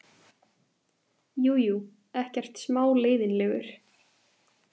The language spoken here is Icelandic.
Jú, jú, ekkert smá leiðinlegur.